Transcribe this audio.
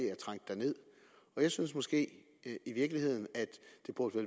er trængt derned jeg synes måske i virkeligheden at